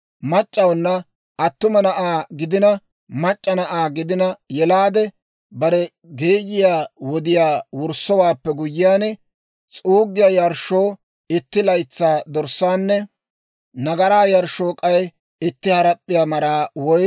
« ‹Mac'c'awuna attuma na'aa gidina mac'c'a na'aa gidina yelaade, bare geeyiyaa wodiyaa wurssowaappe guyyiyaan, s'uuggiyaa yarshshoo itti laytsaa dorssaanne nagaraa yarshshoo k'ay itti harap'p'iyaa maraa woy